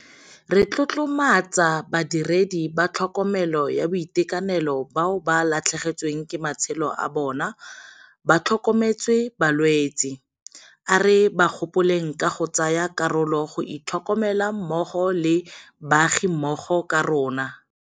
Re tlotlomatsa badiredi ba tlhokomelo ya boitekanelo bao ba latlhegetsweng ke matshelo a bona ba tlhokometse balwetse. A re ba gopoleng ka go tsaya karolo go itlhokomela mmogo le baagimmogo ka rona.